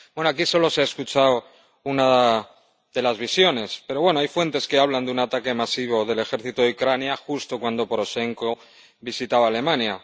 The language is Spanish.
Bueno, aquí solo se ha escuchado una de las visiones, pero hay fuentes que hablan de un ataque masivo del ejército de Ucrania justo cuando Poroshenko visitaba Alemania.